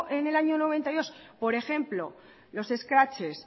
en el año mil novecientos noventa y dos por ejemplo los escraches